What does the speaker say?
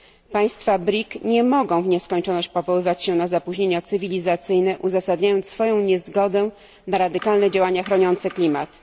Państwa BRIC nie mogą w nieskończoność powoływać się na zapóźnienia cywilizacyjne, uzasadniając swoją niezgodę na radykalne działania chroniące klimat.